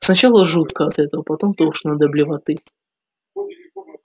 сначала жутко от этого потом тошно до блевоты